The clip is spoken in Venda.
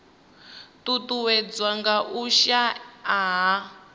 ṱuṱuwedzwa nga u shaea ha